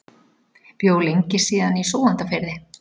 Bjó lengi síðan í Súgandafirði.